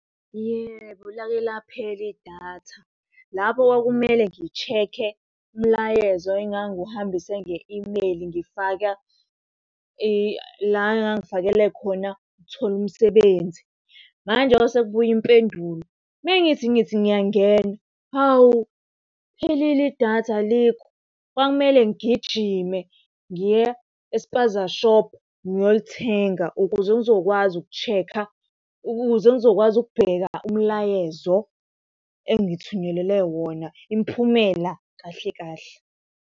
Yebo, lake laphela idatha. Lapho kwakumele ngishekhe umlayezo engangiwuhambise nge-imeyili ngifaka la engangifakele khona ukuthola umsebenzi. Manje ngoba sekubuya impendulo, uma ngithi ngithi ngiyangena, hawu liphelile idatha alikho. Kwakumele ngigijime ngiya espaza shophu ngiyolithenga, ukuze ngizokwazi ukushekha, ukuze ngizokwazi ukubheka umlayezo engithunyelelwe wona imiphumela kahle kahle.